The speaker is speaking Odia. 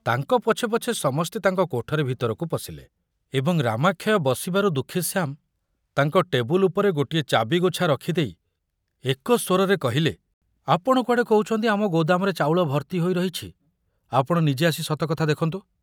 ତାଙ୍କ ପଛେ ପଛେ ସମସ୍ତେ ତାଙ୍କ କୋଠରୀ ଭିତରକୁ ପଶିଲେ ଏବଂ ରାମାକ୍ଷୟ ବସିବାରୁ ଦୁଃଖୀଶ୍ୟାମ ତାଙ୍କ ଟେବୁଲ ଉପରେ ଗୋଟିଏ ଚାବିଗୋଛା ରଖୁଦେଇ ଏକସ୍ବରରେ କହିଲେ, ଆପଣ କୁଆଡ଼େ କହୁଛନ୍ତି ଆମ ଗୋଦାମରେ ଚାଉଳ ଭର୍ତ୍ତି ହୋଇ ରହିଛି, ଆପଣ ନିଜେ ଆସି ସତ କଥା ଦେଖନ୍ତୁ।